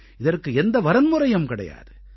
இதற்கு எந்த வரன்முறையும் கிடையாது